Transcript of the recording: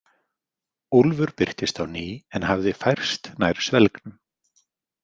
Úlfur birtist á ný en hafði færst nær svelgnum.